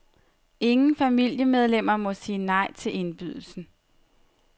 Ingen familiemedlemmer må sige nej til indbydelsen.